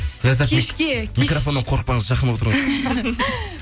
ләззат кешке микрофоннан қорықпаңыз жақын отырыңыз